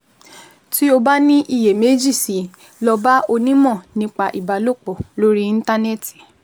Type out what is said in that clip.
Tí o bá ní iyèméjì sí i, lọ bá onímọ̀ nípa ìbálòpọ̀ lórí Íńtánẹ́ẹ̀tì